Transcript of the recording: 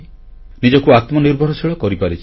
ନିଜକୁ ଆତ୍ମନିର୍ଭରଶୀଳ କରିପାରିଛି